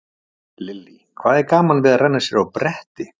Lillý: Hvað er gaman við að renna sér á bretti?